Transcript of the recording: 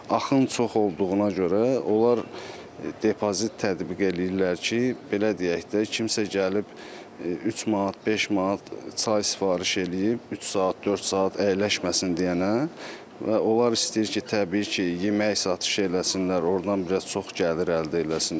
Axın çox olduğuna görə onlar depozit tətbiq eləyirlər ki, belə deyək də, kimsə gəlib 3 manat, 5 manat çay sifariş eləyib 3 saat, 4 saat əyləşməsin deyənə və onlar istəyir ki, təbii ki, yemək satış eləsinlər, ordan biraz çox gəlir əldə eləsinlər.